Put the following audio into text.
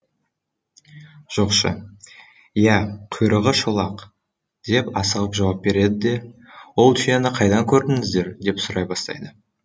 жоқшы иә құйрығы шолақ деп асығып жауап береді де ол түйені қайдан көрдіңіздер деп сұрай бастайды